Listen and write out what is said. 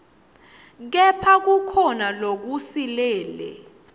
kepha kukhona lokusilele